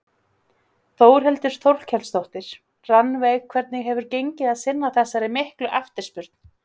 Þórhildur Þorkelsdóttir: Rannveig hvernig hefur gengið að sinna þessari miklu eftirspurn?